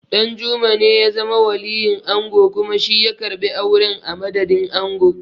Ɗanjuma ne ya zama waliyin ango kuma shi ya karɓi auren a madadin ango.